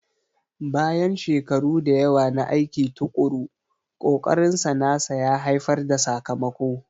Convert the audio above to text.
Bayan shekaru da yawa na aiki tuƙuru, ƙokarinsa nasa ya haifar da sakamako.